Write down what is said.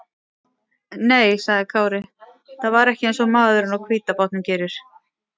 Nei, sagði Kári, þetta var ekki eins og maðurinn á hvíta bátnum gerir.